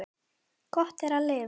Gott er að lifa.